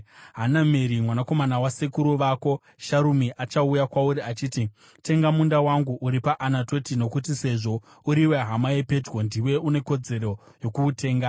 Hanameri mwanakomana wasekuru vako Sharumi achauya kwauri achiti, ‘Tenga munda wangu uri paAnatoti, nokuti sezvo uriwe hama yepedyo, ndiwe une kodzero yokuutenga.’